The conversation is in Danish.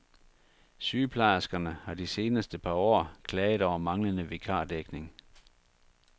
Sygeplejerskerne har de seneste par år klaget over manglende vikardækning.